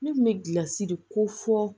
Ne kun bɛ gilasi de ko fɔ